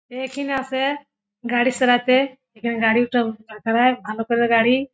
একিন আসে গাড়ি সারাতে এখানে গাড়ি ওটা সারাই ভালো করে গাড়ি--